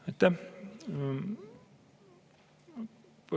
Aitäh!